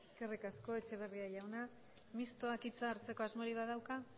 eskerrik asko eskerrik asko etxeberria jauna mistoak hitza hartzeko asmorik badauka